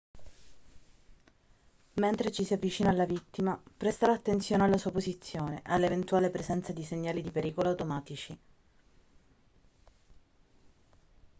mentre ci si avvicina alla vittima prestare attenzione alla sua posizione e all'eventuale presenza di segnali di pericolo automatici